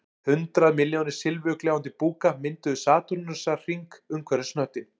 Hundrað milljónir silfurgljáandi búka mynduðu satúrnusarhring umhverfis hnöttinn